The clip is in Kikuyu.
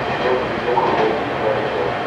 Nĩtũrebundithia kũruga irio itiganĩte